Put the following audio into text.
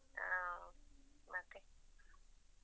ಹಾ ಮತ್ತೆ.